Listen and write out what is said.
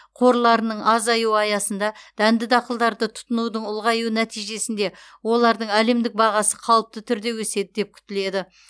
қорларының азаюы аясында дәнді дақылдарды тұтынудың ұлғаюы нәтижесінде олардың әлемдік бағасы қалыпты түрде өседі деп күтіледі